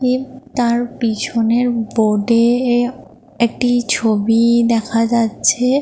এ তার পেছনের বোর্ড -এ একটি ছবি দেখা যাচ্ছে।